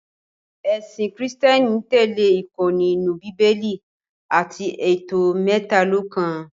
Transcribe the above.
Ẹ̀sìn kìrììtẹ́nì ń tẹ̀lẹ́ ìkọ́ni inú Bíbélì àti ètò mẹ́talọ̀kan